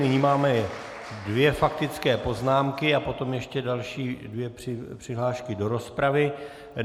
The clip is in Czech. Nyní máme dvě faktické poznámky a potom ještě další dvě přihlášky do rozpravy.